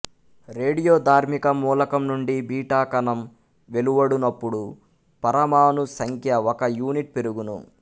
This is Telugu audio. రేడియో ధార్మిక మూలకం నుండి బీటా కణం వెలువడునపుడు పరమాణు సంఖ్య ఒక యూనిట్ పెరుగును